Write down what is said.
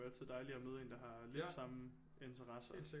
Jo altid dejligt at møde en der har lidt samme interesser